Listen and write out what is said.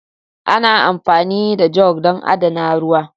Ana amfani da jug don adana ruwa.